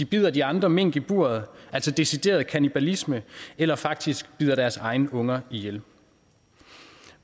bider de andre mink i buret altså decideret kannibalisme eller faktisk bider deres egne unger ihjel